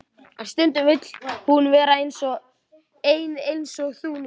En stundum vill hún vera ein eins og þú núna.